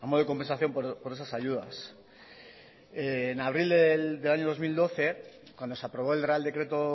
de compensación por esas ayudas en abril del año dos mil doce cuando se aprobó el real decreto